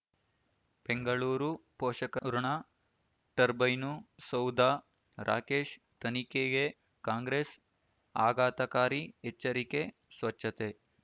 ಬೆಂಗಳೂರು ಪೋಷಕರಋಣ ಟರ್ಬೈನು ಸೌಧ ರಾಕೇಶ್ ತನಿಖೆಗೆ ಕಾಂಗ್ರೆಸ್ ಆಘಾತಕಾರಿ ಎಚ್ಚರಿಕೆ ಸ್ವಚ್ಛತೆ